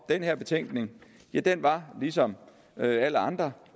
den her betænkning var ligesom alle andre